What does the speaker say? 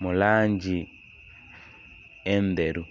mu langi endheru.